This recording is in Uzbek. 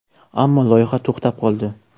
Ammo loyiha to‘xtab qoldi.